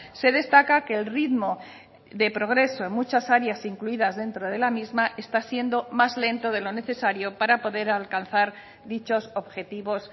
se destaca que el ritmo de progreso en muchas áreas incluidas dentro de la misma está siendo más lento de lo necesario para poder alcanzar dichos objetivos